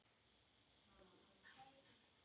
Í lok mars